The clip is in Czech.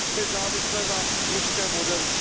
nezávisle na ruském modelu.